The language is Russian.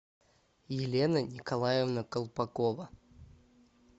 елена николаевна колпакова